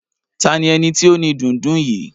Ta ni eni ti o ni dundun yìí?